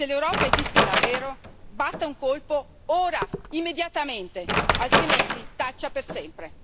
Se l'Europa esiste davvero, batta un colpo ora, immediatamente, altrimenti taccia per sempre.